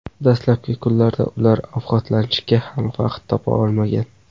Dastlabki kunlarda ular ovqatlanishga ham vaqt topa olmagan.